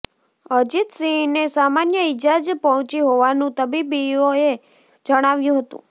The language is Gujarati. અજીતસિંહને સામાન્ય ઇજા જ પહોંચી હોવાનું તબીબોએ જણાવ્યું હતું